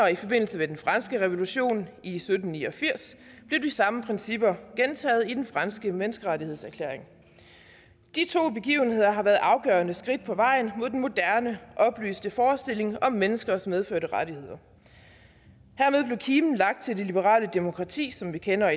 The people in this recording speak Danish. i forbindelse med den franske revolution i sytten ni og firs blev de samme principper gentaget i den franske menneskerettighedserklæring de to begivenheder har været afgørende skridt på vejen mod den moderne oplyste forestilling om menneskers medfødte rettigheder hermed blev kimen lagt til det liberale demokrati som vi kender